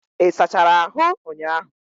Ị sachara ahụ ụnyahụ?